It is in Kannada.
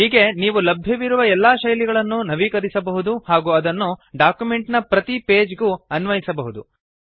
ಹೀಗೆ ನೀವು ಲಭ್ಯವಿರುವ ಎಲ್ಲಾ ಶೈಲಿಗಳನ್ನು ನವೀಕರಿಸಬಹುದು ಹಾಗೂ ಅದನ್ನು ಡಾಕ್ಯುಮೆಂಟ್ ನ ಪ್ರತಿ ಪೇಜ್ ಗೂ ಅನ್ವಯಿಸಬಹುದು